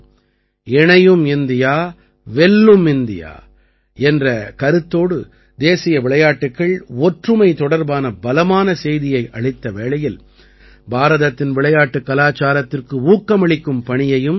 இணையும் இந்தியா வெல்லும் இந்தியா என்ற கருத்தோடு தேசிய விளையாட்டுக்கள் ஒற்றுமை தொடர்பான பலமான செய்தியை அளித்த வேளையில் பாரதத்தின் விளையாட்டுக் கலாச்சாரத்திற்கு ஊக்கமளிக்கும் பணியையும் செய்தது